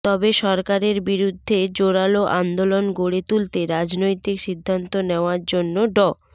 তবে সরকারের বিরুদ্ধে জোরালো আন্দোলন গড়ে তুলতে রাজনৈতিক সিদ্ধান্ত নেওয়ার জন্য ড